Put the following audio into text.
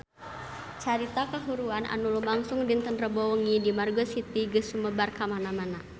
Carita kahuruan anu lumangsung dinten Rebo wengi di Margo City geus sumebar kamana-mana